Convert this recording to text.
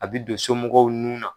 A bɛ don somɔgɔw nun na.